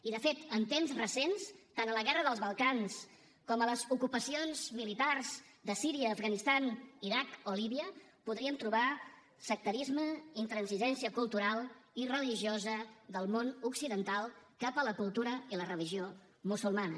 i de fet en temps recents tant a la guerra del balcans com a les ocupacions militars de síria l’afganistan l’iraq o líbia podríem trobar sectarisme intransigència cultural i religiosa del món occidental cap a la cultura i la religió musulmanes